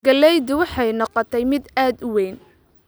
Galleydu waxay noqotay mid aad u weyn